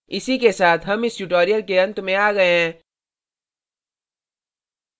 इसी के साथ हम इस tutorial के अंत में आ गए हैं